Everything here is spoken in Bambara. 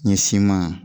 Ɲɛsiman